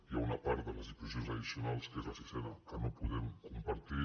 hi ha una part de les disposicions addicionals que és la sisena que no podem compartir